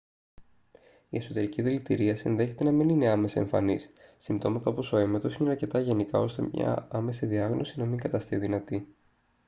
η εσωτερική δηλητηρίαση ενδέχεται να μην είναι άμεσα εμφανής συμπτώματα όπως ο έμετος είναι αρκετά γενικά ώστε μια άμεση διάγνωση να μην καταστεί δυνατή